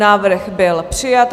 Návrh byl přijat.